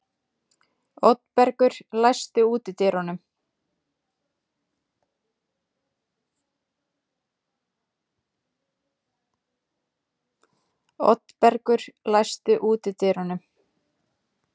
Oddbergur, læstu útidyrunum.